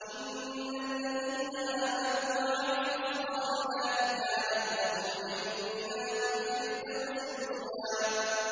إِنَّ الَّذِينَ آمَنُوا وَعَمِلُوا الصَّالِحَاتِ كَانَتْ لَهُمْ جَنَّاتُ الْفِرْدَوْسِ نُزُلًا